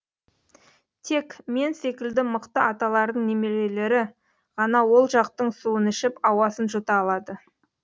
тек мен секілді мықты аталардың немерелері ғана ол жақтың суын ішіп ауасын жұта алады